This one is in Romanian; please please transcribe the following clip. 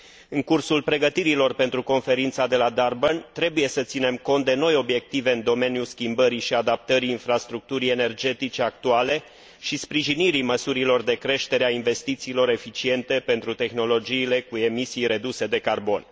În cursul pregătirilor pentru Conferința de la Durban trebuie să ținem cont de noi obiective în domeniul schimbării și adaptării infrastructurii energetice actuale și sprijinirii măsurilor de creștere a investițiilor eficiente pentru tehnologiile cu emisii reduse de carbon.